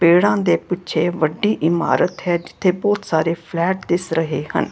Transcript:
ਪੇੜਾ ਦੇ ਪਿੱਛੇ ਵੱਡੀ ਇਮਾਰਤ ਹੈ ਜਿੱਥੇ ਬਹੁਤ ਸਾਰੇ ਫਲੈਟ ਦਿਸ ਰਹੇ ਹਨ।